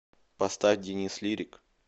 поставь денис лирик